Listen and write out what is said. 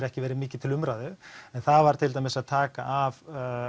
ekki verið mikið til umræðu en það var til dæmis að taka af